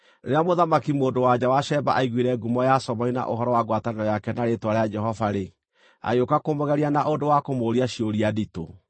Rĩrĩa Mũthamaki mũndũ-wa-nja wa Sheba aiguire ngumo ya Solomoni na ũhoro wa ngwatanĩro yake na rĩĩtwa rĩa Jehova-rĩ, agĩũka kũmũgeria na ũndũ wa kũmũũria ciũria nditũ.